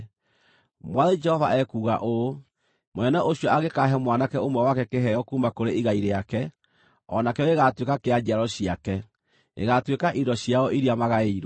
“ ‘Mwathani Jehova ekuuga ũũ: Mũnene ũcio angĩkaahe mwanake ũmwe wake kĩheo kuuma kũrĩ igai rĩake, o na kĩo gĩgaatuĩka kĩa njiaro ciake; gĩgaatuĩka indo ciao iria magaĩirwo.